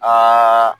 Aa